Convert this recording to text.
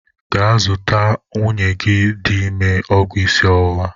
Gaa zụtalụ nwunye gị dị ime ọgwụ isi ọwụwa!